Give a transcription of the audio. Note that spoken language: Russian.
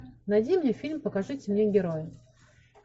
найди мне фильм покажите мне героя